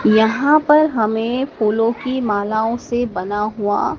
यहां पर हमें फूलों की मालाओं से बना हुआ--